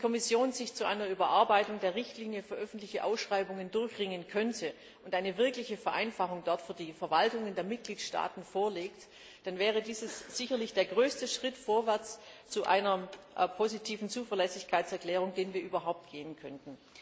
Wenn die Kommission sich zu einer Überarbeitung der Richtlinie für öffentliche Ausschreibungen durchringen könnte und dort eine wirkliche Vereinfachung für die Verwaltungen der Mitgliedstaaten vorlegt, dann wäre dies sicherlich der größte Schritt vorwärts zu einer positiven Zuverlässigkeitserklärung, den wir überhaupt gehen könnten.